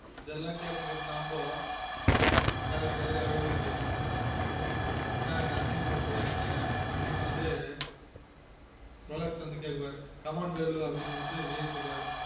இதெல்லான் கேட்டுனு இருக்குற நாமொ கதறி கதறி அழுவ வேண்டியது தான் என்ன அசிங்க படுத்துற என்ன அப்டினு வந்து ரொலக்ஸ் வந்து கேப்பாரு come on வேலு அப்டினு விஜய்